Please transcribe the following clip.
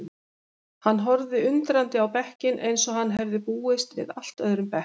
Hann horfði undrandi á bekkinn eins og hann hefði búist við allt öðrum bekk.